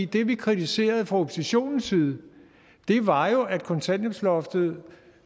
det vi kritiserede fra oppositionens side var jo at kontanthjælpsloftet